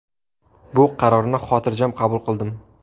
Bu qarorni xotirjam qabul qildim.